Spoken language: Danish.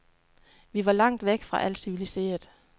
Vi var langt væk fra alt civiliseret.